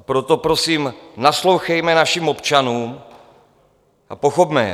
A proto prosím, naslouchejme našim občanům a pochopme je.